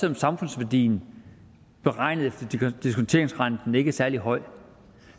om samfundsværdien beregnet efter diskonteringsrenten ikke er særlig høj